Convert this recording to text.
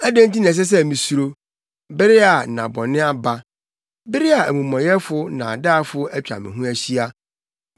Adɛn nti na ɛsɛ sɛ misuro, bere a nna bɔne aba, bere a amumɔyɛfo nnaadaafo atwa me ho ahyia,